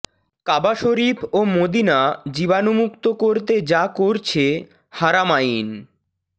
কাবা শরিফ ও মদিনা জীবাণুমুক্ত করতে যা করছে হারামাইন